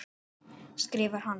skrifar hann.